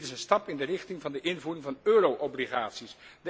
Dit is een stap in de richting van de invoering van euro obligaties.